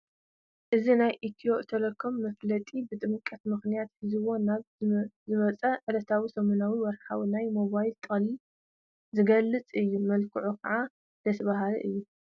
እዚ ናይ ኢትዮ ቴለኮም መፋለጢ ብጥምቀት ምኽንያት ሒዝዎ ናይ ዝወፀ ዕለታዊ፣ ሰሙናዉን ወርሓውን ናይ ሞባይል ጥቕልል ዝገልፅ እዩ፡፡ መልክዑ ከዓ ደስ በሃሊ እዩ፡፡